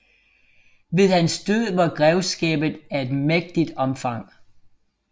Ved hans død var grevskabet af et mægtigt omfang